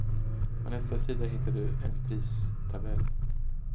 På nästa sida hittar du en pristabell.